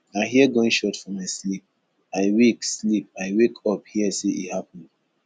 i hear gunshot for my sleep i wake sleep i wake up hear say e happen